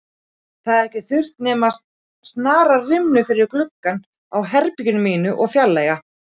Það hefði ekki þurft nema að snara rimlum fyrir gluggann á herberginu mínu og fjarlægja